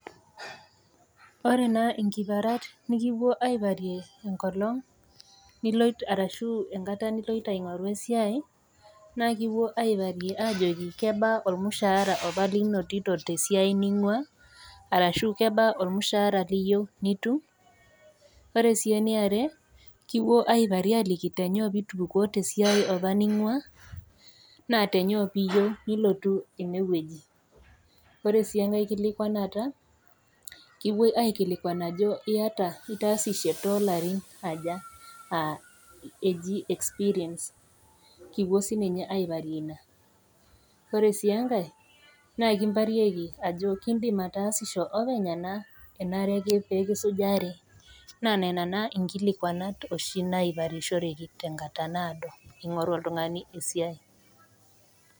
Ore naa inkiparat nekipuoi aiparie enkolong' niloito arashu enkata niloito aing'oru esiai naa kipuo aiparie ajo kebaa opa olmushara opa linotito opa tesiai ningua ashu kebaa olmushara loyiou nitum,. Ore sii ene are kipuoi aiparie ajoki kainyoo pee itupukuo opa tesiai nitii ninguaa naa tenyoo piyou nilotu ene wueji, ore sii enkai kilikwanata kiwuoi aiparie ajo iata, itaasishe toolarin aja aa eji experience kipuoi sii ninye aiparie Ina, Kore sii enkai kindim aiparie ajo indim ataasisho openy anaa enare pee kisujari naa nena naa inkiparat nikimparieki ing'oru oltung'ani esiai.